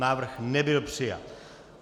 Návrh nebyl přijat.